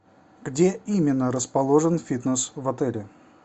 где именно расположен фитнес в отеле